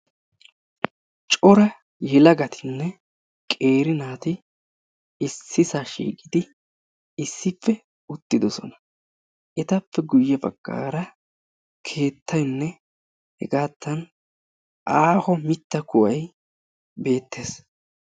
Cora yelagatinne qeeri naati issisaa shiiqidi issippe uttidosona. Etappe guyye baggaara keettayinne hegaatta aaho mitta kuway beettes.